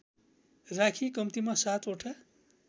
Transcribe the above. राखी कम्तिमा सातवटा